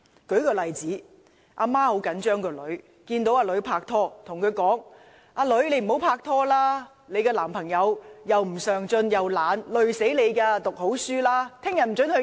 舉個例子，母親很着緊女兒，看到女兒拍拖，便對女兒說："你不應跟你的男朋友拍拖，他既不上進又懶惰，會拖累你的，你應好好讀書，明天不准出街。